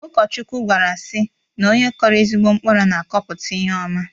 Ụkọchukwu gwara sị na onye kọrọ ezigbo mkpụrụ na-akọpụta ihe ọma